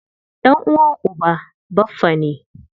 Ɗan'uwan uba baffa ne.